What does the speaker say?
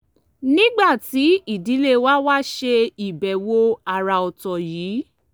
nígbà tí ìdílé wa wá ṣe ìbẹ̀wò àrà ọ̀tọ̀ yìí